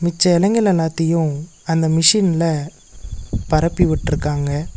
மிச்ச எலைங்கலெல்லாத்தயு அந்த மிஷின்ல பரப்பி வுட்ருக்காங்க.